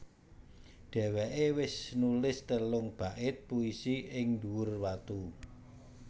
Dheweké wis nulis telung bait puisi ing dhuwur watu